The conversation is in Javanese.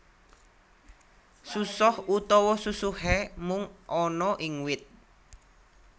Susoh utawa susuhé mung ana ing wit